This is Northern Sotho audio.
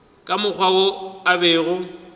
ka mokgwa wo a bego